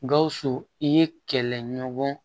Gawusu i ye kɛlɛɲɔgɔn